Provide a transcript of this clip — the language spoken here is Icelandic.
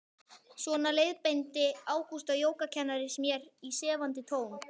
Svona leiðbeindi Ágústa jógakennari mér í sefandi tón.